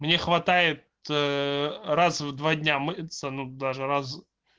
мне хватает раз в два дня мыться ну даже раз